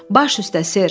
Baş üstə sir.